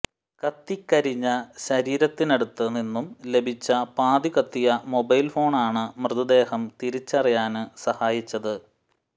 കത്തിക്കരിഞ്ഞ ശരീരത്തിനടുത്തുനിന്നും ലഭിച്ച പാതി കത്തിയ മൊബൈല് ഫോണാണ് മൃതദേഹം തിരിച്ചറിയാന് സഹായിച്ചത്